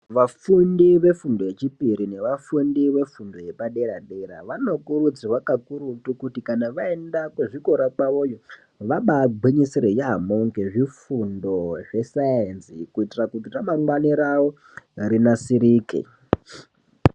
Vafundi vefundo yechipiri nevafundi vefundo yepaderadera vanokurudzirwa kakurutu kuti kana vaenda kuzvikora kwavoyo vaba gwinyisire yambo ngezvifundo zvesaenzi kuitira kuti ramangwani ravo rinasirike.